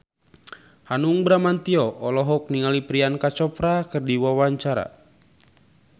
Hanung Bramantyo olohok ningali Priyanka Chopra keur diwawancara